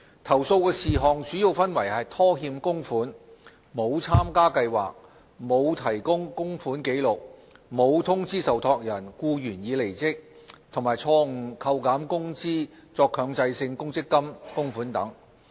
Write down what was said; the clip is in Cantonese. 投訴事項主要分為拖欠供款、沒有參加計劃、沒有提供供款紀錄、沒有通知受託人僱員已離職，以及錯誤扣減工資作強制性公積金供款等。